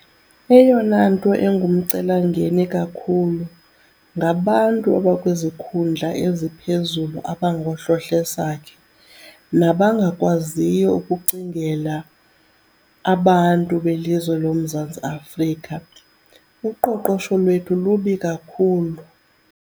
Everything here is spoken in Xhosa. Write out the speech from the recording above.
Eyona nto engumcelimngeni kakhulu ngabantu abakwizikhundla eziphezulu abangohlohlesakhe nabangakwaziyo ukucingela abantu belizwe loMzantsi Afrika. Uqoqosho lwethu lubi kakhulu.